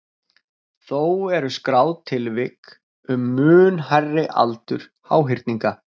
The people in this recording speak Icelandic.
Þó eru skráð tilvik um mun hærri aldur háhyrninga.